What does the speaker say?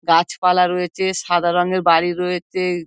গাছ পালা রয়েচে সাদা রঙের বাড়ি রয়েচে-এ।